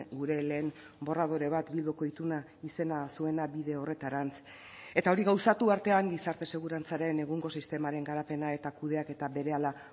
gure lehen borradore bat bilduko ituna izena zuena bide horretarantz eta hori gauzatu artean gizarte segurantzaren egungo sistemaren garapena eta kudeaketa berehala